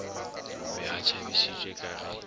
be a tšhabišitšwe ka ge